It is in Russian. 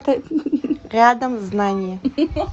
рядом знание